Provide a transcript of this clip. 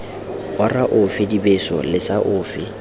ora ofe dibeso lesa ofe